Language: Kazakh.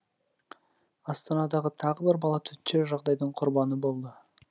астанада тағы бір бала төтенше жағдайдың құрбаны болды